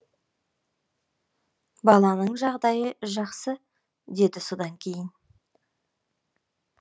баланың жағдайы жақсы деді содан кейін